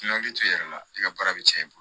I na hakili to i yɛrɛ la i ka baara bɛ cɛn i bolo